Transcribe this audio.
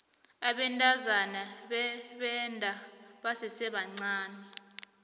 abantazana bebenda basesebancani